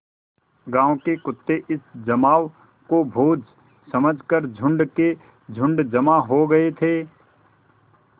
गाँव के कुत्ते इस जमाव को भोज समझ कर झुंड के झुंड जमा हो गये थे